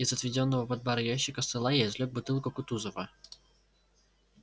из отведённого под бар ящика стола я извлёк бутылку кутузова